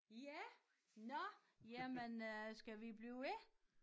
Ja nåh jamen øh skal vi blive ved